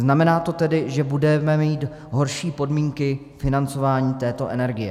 Znamená to tedy, že budeme mít horší podmínky financování této energie.